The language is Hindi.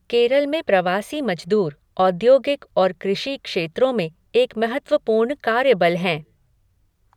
केरल में प्रवासी मजदूर औद्योगिक और कृषि क्षेत्रों में एक महत्वपूर्ण कार्यबल हैं।